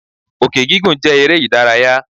Òkè gígùn jẹ́ eré ìdárayá.